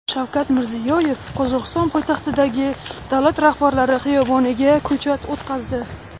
Shavkat Mirziyoyev Qozog‘iston poytaxtidagi Davlat rahbarlari xiyoboniga ko‘chat o‘tqazdi.